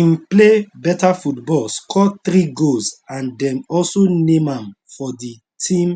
im play beta football score three goals and dem also name am for di team